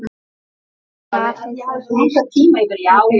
Hafið þið heyrt það betra?